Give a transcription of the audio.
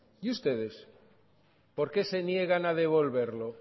y ustedes por qué se niegan a devolverlo